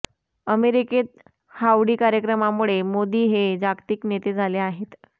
अमेरिकेत हाऊडी कार्यक्रमामुळे मोदी हे जागतिक नेते झाले आहेत